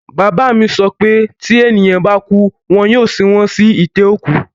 Bàbá mi sọ pé tí ènìyàn bá kú, wọn yóò sin wọ́n sí itẹ́ òkú